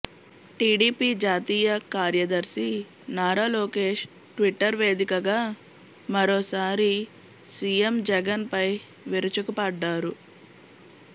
TDP జాతీయ కార్యదర్శి Nara Lokesh Twitter వేదికగా మరోసారి సీఎం జగన్పై విరుచుకుపడ్డారు